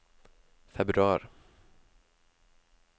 februar